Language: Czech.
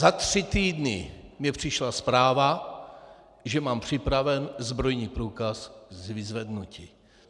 Za tři týdny mně přišla zpráva, že mám připraven zbrojní průkaz k vyzvednutí.